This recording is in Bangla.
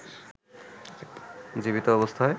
জীবিত অবস্থায়